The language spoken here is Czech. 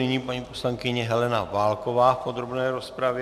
Nyní paní poslankyně Helena Válková v podrobné rozpravě.